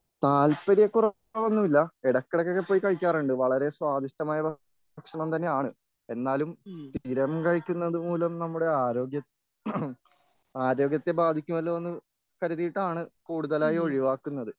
താൽപര്യക്കുറവൊന്നുമില്ല ഇടയ്ക്കിടയ്ക്കോ പോയി കഴിക്കാറുണ്ട് വളരെ സ്വാദിഷ്ടമായ ഭക്ഷണം തന്നെയാണ് എന്നാലും സ്ഥിരം കഴിക്കുന്നതുമൂലം നമ്മുടെ ആരോഗ്യം ആരോഗ്യത്തെ ബാധിക്കും അല്ലോ എന്ന് കരുതിയതാണ് കൂടുതലായി ഒഴിവാക്കുന്നത്.